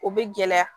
O bɛ gɛlɛya